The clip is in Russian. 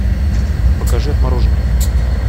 покажи отмороженные